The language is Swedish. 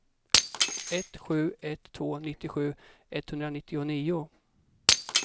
ett sju ett två nittiosju etthundranittionio